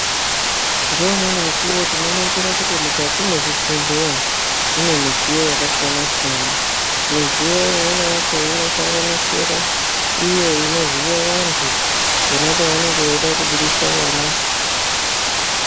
Neumweni mukuwo tinoona kuti mukati mezvibhedhlera mune midziyo yakasiyana siyana midziyo imweni yacho inosanganisira imwe inoziya vantu pona pavanenge veida Kubudisa vana.